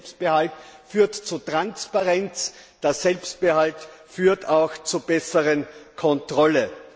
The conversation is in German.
Der Selbstbehalt führt zu Transparenz, der Selbstbehalt führt auch zur besseren Kontrolle!